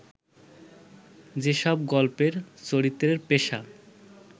যেসব গল্পের চরিত্রের পেশা